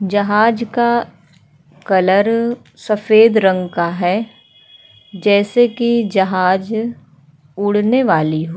जहाज का कलर सफ़ेद रंग का है जैसे कि जहाज उड़ने वाली हो।